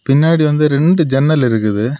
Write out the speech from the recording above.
பின்னாடி வந்து ரெண்டு ஜன்னல் இருக்குது.